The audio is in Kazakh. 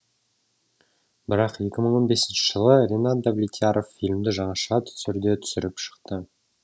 бірақ екі мың он бесінші жылы ренат давлетьяров фильмді жаңаша түрде түсіріп шықты